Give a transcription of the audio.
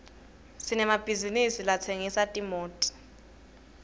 sinemabhizisi latsengisa timoto